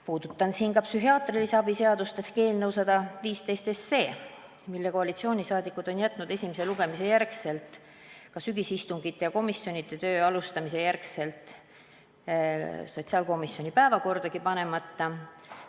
Puudutan siin psühhiaatrilise abi seaduse § 3 täiendamise seaduse eelnõu 115, mille koalitsiooni liikmed on jätnud esimese lugemise järel, ka sügisistungite ja komisjonide töö alustamise järel sotsiaalkomisjoni päevakordagi panemata.